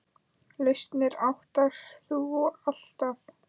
Lausnir áttir þú alltaf.